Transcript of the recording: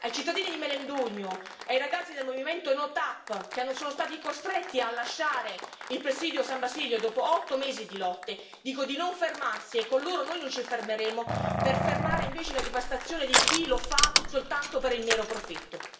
Ai cittadini di Melendugno, ai ragazzi del movimento NO TAP, che sono stati costretti a lasciare il presidio a San Basilio dopo otto mesi di lotte, dico di non fermarsi, e con loro noi non ci fermeremo per fermare invece la devastazione di chi lo fa soltanto per il mero profitto.